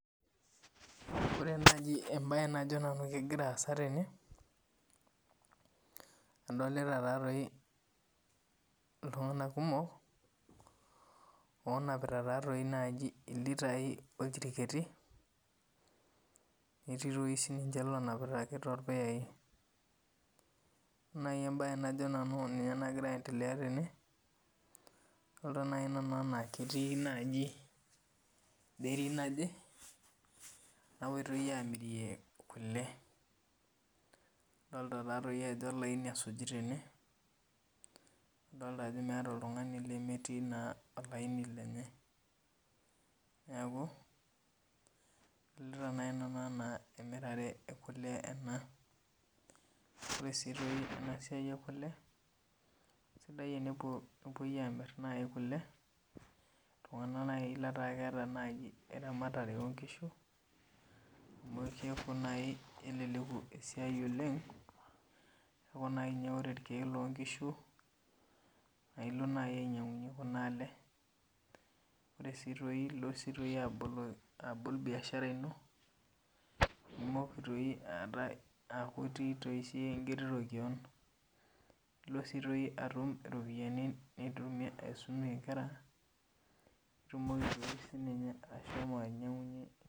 Ore naji ebae najo nanu kegira aasa tene, adolita tatoi iltung'anak kumok, onapita tatoi naji ilitai, oljiriket, netii toi sininche lonapita ake torpuyai. Ore nai ebae najo nanu ninye nagira aendelea tene, adolta nai nanu enaa ketii naji dairy naje, napoitoi amirie kule. Adolta tatoi ajo olaini esuji tene, adolta ajo meeta oltung'ani lemetii naa olaini lenye. Neeku, adolta nai nanu enaa emirare ekule ena. Ore si toi enasiai ekule, sidai enepuo enepoi amir kule, iltung'anak nai letaa keeta naji eramatare onkishu. Amu kepuo nai keleleku esiai oleng, neeku nai nye ore irkeek lonkishu, nailo nai ainyang'unye kuna ale, ore si toi ilo si toi abol biashara ino, nimoki toi aata aku itii toi siyie enkiti toki, nilo si toi atum iropiyiani nitumie aisumie inkera, nitumoki toi sininye ashomo ainyang'unye